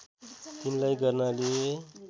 तिनलाई गर्नाले